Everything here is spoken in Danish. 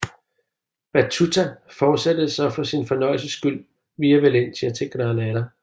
Battuta fortsatte så for sin fornøjelses skyld via Valencia til Granada